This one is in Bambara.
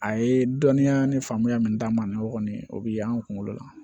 A ye dɔnniya ni faamuya min d'an ma o kɔni o bi y'anw kunkolo la